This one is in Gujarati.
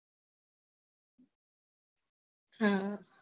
હમ